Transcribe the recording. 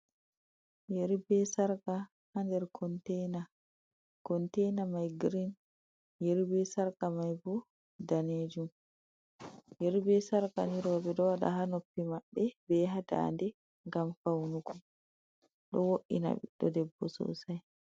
Yeri be sarka ha nder kontaina, kontaina mai girin. Yeri be sarka mai bo daneejum. Yeri be sarka ni rooɓe ɗo waɗa ha noppi mabbe, be ha dannde ngam faunugo. Ɗo wo’ina ɓiɗɗo debbo sosai.